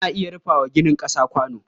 Ana iya rufa wa ginin ƙasa kwano.